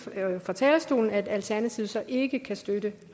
her fra talerstolen at alternativet ikke kan støtte